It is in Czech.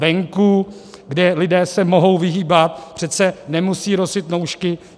Venku, kde lidé se mohou vyhýbat, přece nemusí nosit roušky.